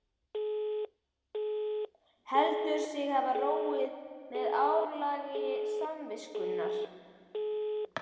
Heldur sig hafa róið með áralagi samviskunnar.